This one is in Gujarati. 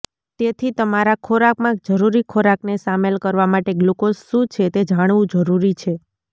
તેથી તમારા ખોરાકમાં જરૂરી ખોરાકને શામેલ કરવા માટે ગ્લુકોઝ શું છે તે જાણવું જરૂરી છે